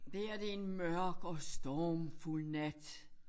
Det her det en mørk og stormfuld nat